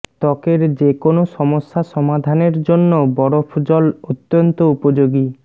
ত্বকের যে কোনও সমস্যা সমাধানের জন্য বরফ জল অত্যন্ত উপযোগী